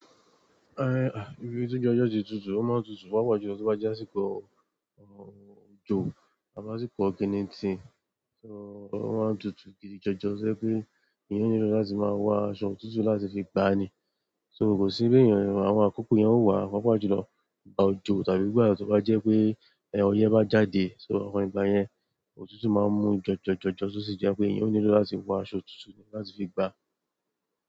Eh, ibi tí ojú ọjọ ti tutù, ó máa ń tutù. Pápá jù lọ tí ó bá jásíkò òjò tàbí àsìkò oginiti, so ó máa ń tutù gidi jọjọ to jẹ pé èèyàn nílò láti máa wọ aṣọ òtútù láti fi gba ni. So kosi bi eeyan, àwọn àkókò yen ọ wá o pápá jù lọ ìgbà òjò tàbí gba tí ó bá jẹ́ pé oyẹ bá jáde, so àwọn ìgbà yẹn òtútù máa ń mú jọjọ jọjọ tó sì jẹ́ pé èèyàn nílò láti wọ aṣọ òtútù láti fi gba.